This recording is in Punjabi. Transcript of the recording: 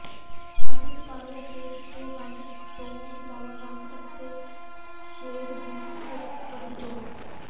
ਕਲਾਸਿਕ ਕਾਲੇ ਅਤੇ ਚਿੱਟੇ ਰੰਗਾਂ ਤੋਂ ਇਲਾਵਾ ਰੰਗ ਅਤੇ ਸ਼ੇਡ ਦੀ ਇੱਕ ਵੱਡੀ ਚੋਣ